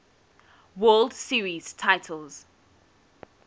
world series titles